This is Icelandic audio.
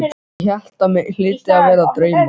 Ég hélt mig hlyti að vera að dreyma.